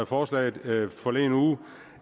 forslaget forleden uge